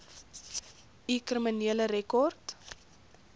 u kriminele rekord